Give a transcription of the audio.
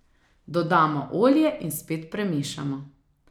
Dodamo olje in spet premešamo.